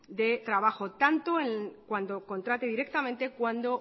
de trabajo tanto en cuando contrate directamente